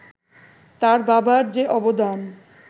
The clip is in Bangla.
তার বাবার যে অবদান